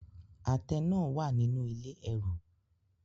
Àtẹ náà wà nínú ilé ẹrù.